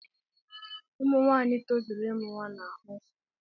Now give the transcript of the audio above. Ụmụ nwaanyị tozuru ịmụ nwa na-ahụ nsọ.